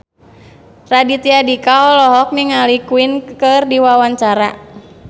Raditya Dika olohok ningali Queen keur diwawancara